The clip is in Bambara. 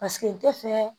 Paseke n tɛ fɛ